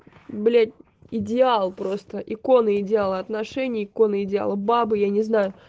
блять идеал просто иконы идеала отношения иконы идеала бабы я не знаю